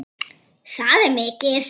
Það er mikið.